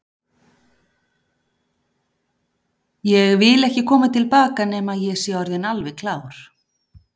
Ég vil ekki koma til baka nema ég sé orðinn alveg klár.